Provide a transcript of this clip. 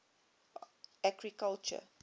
agriculture